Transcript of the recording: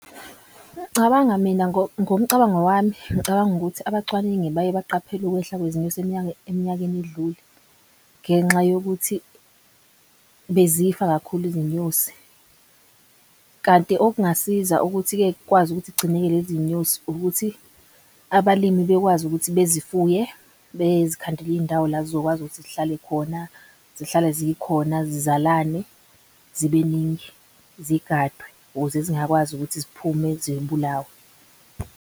Ngicabanga mina ngomcabango wami ngicabanga ukuthi abacwaningi baye baqaphele ukwehla kwezinyosi eminyakeni edlule ngenxa yokuthi bezifa kakhulu izinyosi. Kanti okungasiza ukuthi-ke kukwazi ukuthi kugcineke lezi nyosi ukuthi abalimi bekwazi ukuthi bezifuye. Bezikhandele izindawo la zizokwazi ukuthi zihlale khona zihlale zikhona zizalane zibeningi zigadwe ukuze zingakwazi ukuthi ziphume .